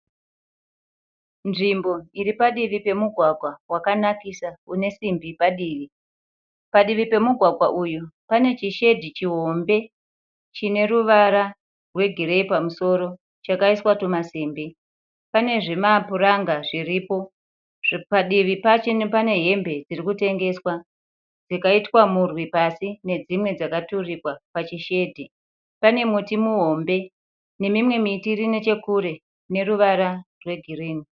Nzvimbo iripadivi pemugwagwa vakanakisa une simbi padivi. Padivi pemugwagwa uyu pane chishedhi chihombe chineruvara rwegireyi pamusoro. Chakaiswa timasimbi. Pane zvimapuranga zviripo. Padivi pachoni pane hembe dzirikutengeswa dzakaitwa mhuri pasi nedzimwe dzakaturikwa oachishedhi. Pane muti muhombe nemimwe miti irinechekure ineruvara rwegirinhi.